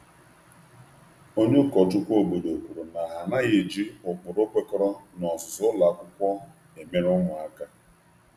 Onye ụkọchukwu n’ógbè kwupụtara nchegbu banyere mmeso adịghị mma na iwu ụlọ akwụkwọ na nso nso na nso nso a.